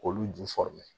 K'olu ju